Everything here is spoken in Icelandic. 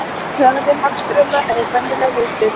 Hraði hafstrauma er venjulega lítill.